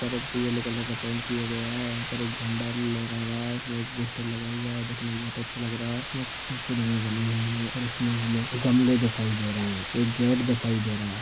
एक पर एक पीले येल्लो कलर का पेंट किया गया है यहा पर एक झंडा लहरा रहा है इसमे एक पोस्टर लगा हुआ है दिखने मे बहुत अच्छा लग रहा है इसमे कुछ सिडिया बनी हुई है और इसमे हमे गमले दिखाई दे रहे है एक गेट दिखाई दे रहा है।